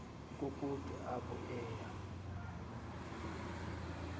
kukude apho aya